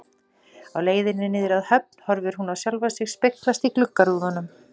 Á leiðinni niður að höfn horfir hún á sjálfa sig speglast í gluggarúðunum.